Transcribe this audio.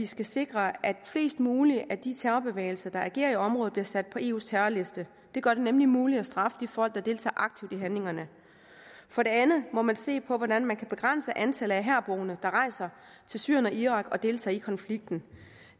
skal sikre at flest mulige af de terrorbevægelser der agerer i området bliver sat på eus terrorliste det gør det nemlig muligt at straffe de folk der deltager aktivt i handlingerne for det andet må man se på hvordan man kan begrænse antallet af herboende der rejser til syrien og irak og deltager i konflikten